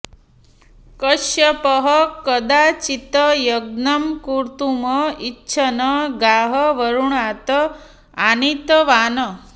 कश्यपः कदाचित् यज्ञं कर्तुम् इच्छन् गाः वरुणात् आनीतवान्